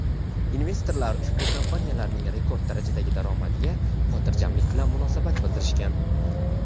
investorlar ushbu kompaniyalarning rekord darajadagi daromadiga xotirjamlik bilan munosabat bildirishgan.